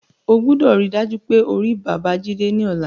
O gbọdọ̀ ríi dájú pé o rí Babájídé ní ọ̀la